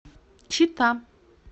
чита